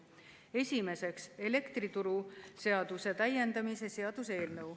Esimeseks, elektrituruseaduse täiendamise seaduse eelnõu.